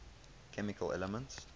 chemical elements